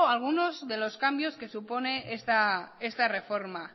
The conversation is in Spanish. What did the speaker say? algunos de los cambios que supone esta reforma